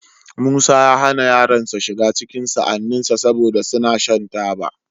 Musa ya hana yaronsa shiga cikin sa'anninsa, saboda suna shan taba.